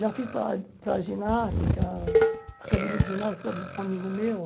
Já fiz para para ginástica, academia de ginástica um a um amigo meu.